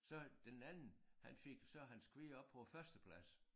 Så den anden han fik så hans kvier op på æ førsteplads